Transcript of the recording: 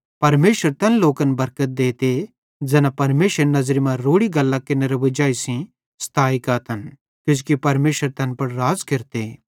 परमेशर तैन लोकन बरकत देते ज़ैना परमेशरेरी नज़री मां रोड़ि गल्लां केरनेरे वजाई सेइं सताए गातन किजोकि परमेशर तैन पुड़ राज़ केरते